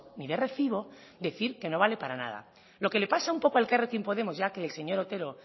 ni de recibo decir que no vale para nada lo que le pasa un poco a elkarrekin podemos ya que el señor otero